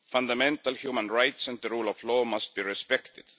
Fundamental human rights and the rule of law must be respected.